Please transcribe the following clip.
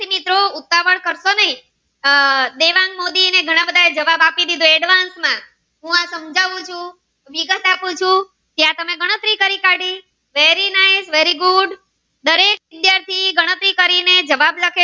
આહ દેવાંગ મોદી એ ઘણા બધા જવાબ આપી દીધા aedvance માં હું જવાબ આપું ચુ વિગત આપું છું ત્યાં ગણતરી કરી નાખી very nice very good દરેક વિદ્યાર્થી ગણતરી કરી ને જવાબ આપે